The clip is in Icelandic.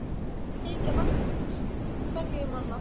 Þykja vænt hverju um annað.